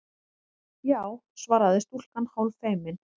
Já- svaraði stúlkan hálffeimin.